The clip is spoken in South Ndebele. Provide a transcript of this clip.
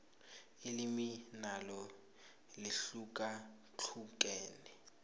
ilimi nalo lihlukahlukene